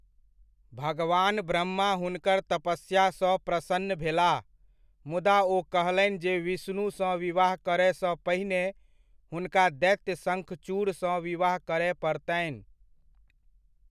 भगवान ब्रह्मा हुनकर तपस्या सँ प्रसन्न भेलाह, मुदा ओ कहलनि जे विष्णु सँ विवाह करय सँ पहिने हुनका दैत्य शंखचूड़ सँ विवाह करय पड़तनि।